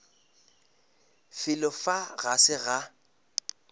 felo fa ga se ga